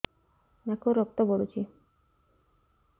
ନାକରୁ ରକ୍ତ ପଡୁଛି